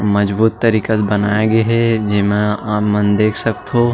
मजबूत तरीका से बनाए गे हे जेमा आप मन देख सकथव।